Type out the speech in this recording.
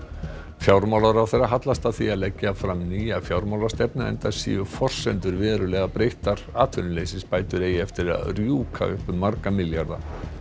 fjármálaráðherra hallast að því að leggja fram nýja fjármálastefnu enda séu forsendur verulega breyttar atvinnuleysisbætur eigi eftir að rjúka upp um marga milljarða